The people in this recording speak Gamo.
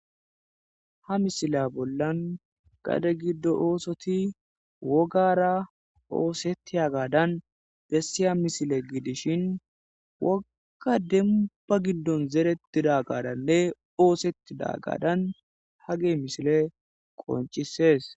Ha misile bollan gade giddo oosoti wogara oosetti hagadan bessiya misile gidishin wokka demba giddon zerettida gadanne oosetti dagadan ha ge misile qoncisees